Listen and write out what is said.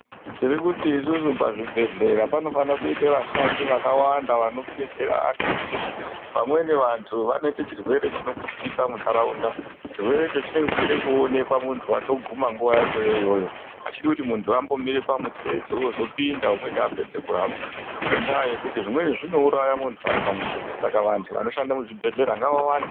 Tirikuti isusu pazvibhedhlera panofanekuite vashandi vakawanda vanodetsere vantu ngokuti vamweni vantu vanoite chirwere chinoputika muntaraunda chirwerecho chinenge cheide kuoneka muntu watoguma nguwa yachoyoiyoyo hachidi kuti muntu ambomire pamutsetse wozopinda umweni apedze kurapwa, ngendaa yekuti zvimweni zvinouraya muntu ari pamutsetse, saka vantu vanoshanda muchibhedhlera ngavawande.